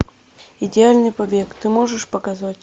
идеальный побег ты можешь показать